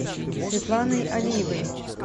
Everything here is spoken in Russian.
светланой алиевой